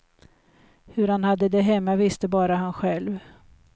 Hur han hade det hemma visste bara han själv.